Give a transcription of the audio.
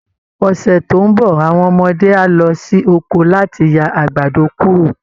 Ọ̀sẹ̀ tó ń bọ̀ àwọn ọmọdé á lọ sí oko láti ya àgbàdo kúrò